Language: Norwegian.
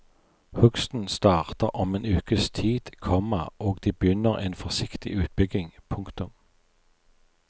Hugsten starter om en ukes tid, komma og de begynner en forsiktig utbygging. punktum